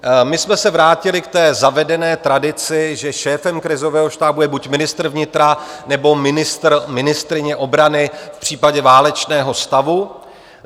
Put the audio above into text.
My jsme se vrátili k zavedené tradici, že šéfem krizového štábu je buď ministr vnitra, nebo ministr/ministryně obrany v případě válečného stavu.